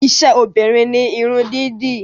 Iṣẹ́ obìnrin ni Irun dídì